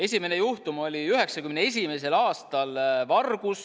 Esimene juhtum oli 1991. aastal vargus.